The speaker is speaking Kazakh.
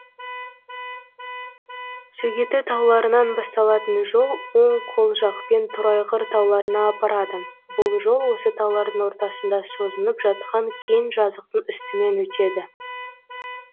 сөгеті тауларынан басталатын жол оң қол жақпен торайғыр тауларына апарады бұл жол осы таулардың ортасында созынып жатқан кең жазықтың үстімен өтеді